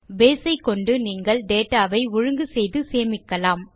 base ஐக்கொண்டு நீங்கள் data வை ஒழுங்கு செய்து சேமிக்கலாம்